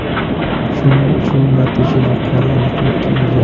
Shuning uchun natija yuqori aniqlikka ega.